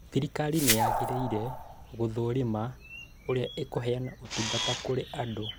Thirikari nĩyagĩrĩire gũthũrima ũrĩa ĩkũheana ĩũtungata kũrĩ andũ